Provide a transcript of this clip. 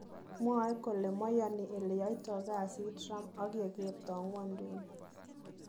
Mwoe kole maiyoni eleyoito kasit Trump ak Yegerto ngwonduni.